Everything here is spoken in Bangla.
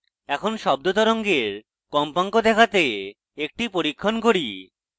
এখন শব্দ তরঙ্গের কম্পাঙ্ক দেখাতে একটি পরীক্ষণ করি